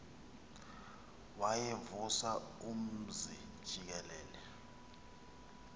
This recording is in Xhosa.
wayevusa umzi jikelele